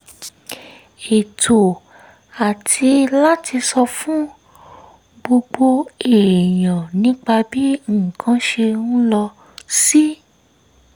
ètò àti láti sọ fún gbogbo èèyàn nípa bí nǹkan ṣe ń lọ sí